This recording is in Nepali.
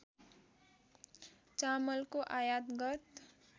चामलको आयात गत